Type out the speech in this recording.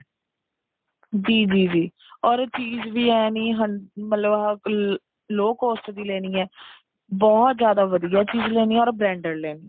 ਜੀ ਜੀ ਜੀ or ਚੀਜ ਵੀ ਐ ਨਹੀਂ hundred ਮਤਲਬ low cost ਦੀ ਲੇਣੀ ਐ ਬਹੁਤ ਜਿਆਦਾ ਵਧੀਆ ਚੀਜ ਲੈਣੀ ਐ or branded ਲੈਣੀ ਐ